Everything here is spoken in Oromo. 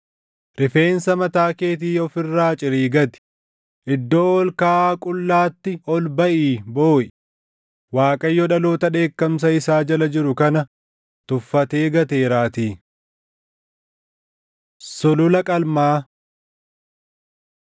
“ ‘Rifeensa mataa keetii of irraa cirii gati; iddoo ol kaʼaa qullaatti ol baʼii booʼi; Waaqayyo dhaloota dheekkamsa isaa jala jiru kana tuffatee gateeraatii. Sulula Qalmaa